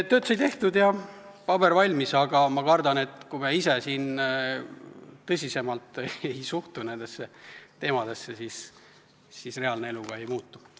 Tööd sai tehtud ja paber valmis, aga ma kardan, et kui me ise tõsisemalt nendesse teemadesse ei suhtu, siis reaalne elu ka ei muutu.